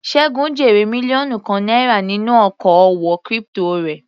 Segun jèrè mílíọ̀nù kan náírà nínú oko òwò crypto rẹ̀.